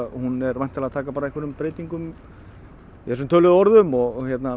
hún er væntanlega að taka einhverjum breytingum i þessum töluðu orðum og